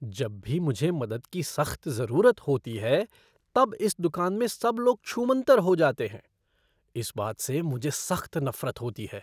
जब भी मुझे मदद की सख़्त ज़रूरत होती है तब इस दुकान में सब लोग छूमंतर हो जाते हैं। इस बात से मुझे सख़्त नफ़रत होती है।